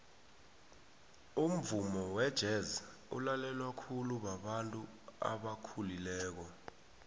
umvumo wejez ulalelwa khulu babantu abakhulileko